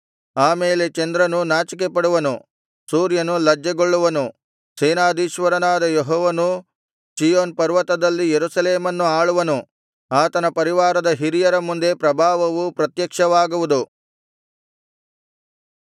ಆಮೇಲೆ ಚಂದ್ರನು ನಾಚಿಕೆಪಡುವನು ಸೂರ್ಯನು ಲಜ್ಜೆಗೊಳ್ಳುವನು ಸೇನಾಧೀಶ್ವರನಾದ ಯೆಹೋವನು ಚೀಯೋನ್ ಪರ್ವತದಲ್ಲಿ ಯೆರೂಸಲೇಮನ್ನು ಆಳುವನು ಆತನ ಪರಿವಾರದ ಹಿರಿಯರ ಮುಂದೆ ಪ್ರಭಾವವು ಪ್ರತ್ಯಕ್ಷವಾಗುವುದು